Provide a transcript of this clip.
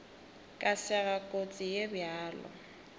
ka sega kotsi ye bjalo